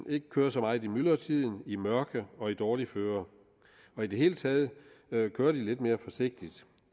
ikke kører så meget i myldretiden i mørke og i dårligt føre i det hele taget kører de lidt mere forsigtigt